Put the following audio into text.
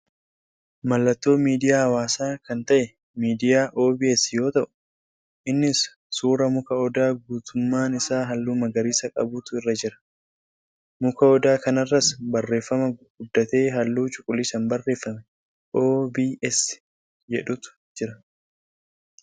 Mallattoo miidiyaa hawaasaa kan ta'e miidiyaa OBS yoo ta'u, innis suuraa muka odaa guutummaan isaa haalluu magariisa qabuutu irra jira. Muka odaa kanarras barreeffama gurguddatee haalluu cuquliisaan barreeffame OBS jedhutu jira.